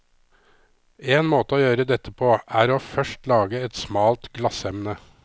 En måte å gjøre dette på, er å først lage et smalt glassemne.